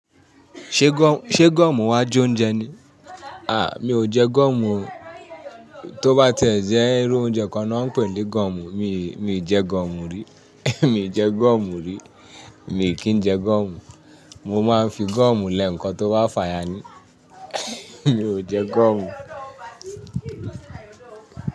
Ṣé gọ̀, ṣe goomu wa jẹ oúnjẹ ni? À, mi ò jẹ goomu o. Tó bá tẹ̀ ẹ́ jẹ́ irú oúnjẹ kan ni wọ́n ń pè ní goomu, mi, mi ì jẹ goomu rí. Mi ò jẹ goomu rí. Mi kì n jẹ goomu. Mo máa ń fi goomu lẹ ǹkan tó bà fàya ní. Mi ò jẹ gọ̀hùn.